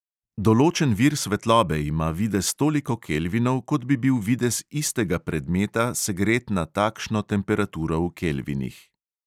Določen vir svetlobe ima videz toliko kelvinov, kot bi bil videz istega predmeta, segret na takšno temperaturo v kelvinih.